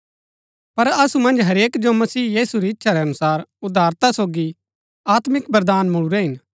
पर असु मन्ज हरेक जो मसीह यीशु री इच्छा रै अनुसार उदारता सोगी आत्मिक वरदान मुळुरै हिन